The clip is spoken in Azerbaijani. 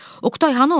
Oqtay hanı o?